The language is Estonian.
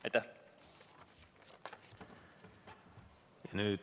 Aitäh!